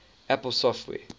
apple software